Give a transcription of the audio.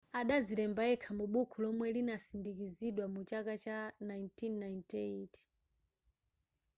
adazilemba yekha mu bukhu lomwe linasindikizidwa mu chaka cha 1998